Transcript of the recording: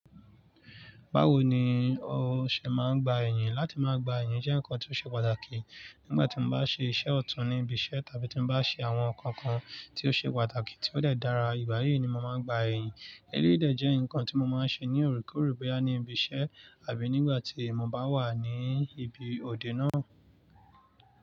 Báwo ni o ṣe máa ń gbà ẹ̀yán? Láti máa gbà ẹ̀yán jẹ́ nǹkan tó ṣe pàtàkì. Nígbà tí mo bá ṣe iṣẹ́ ọ̀tún ní ibi iṣẹ́ tàbí tí n bá ṣe àwọn nnkan kan tí ó ṣe pàtàkì tí ó dẹ̀ dára, ìgbà yìí ni mo máa ń gbà ẹ̀yán. Eléyìí dẹ́ jẹ́ nǹkan tí mo máa ń ṣe ní òorekoore bóyá ní ibi iṣẹ́ àbí nígbà tí mo bá wà ní ibi òde náà.